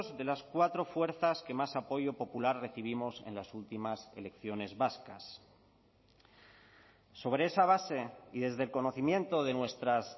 de las cuatro fuerzas que más apoyo popular recibimos en las últimas elecciones vascas sobre esa base y desde el conocimiento de nuestras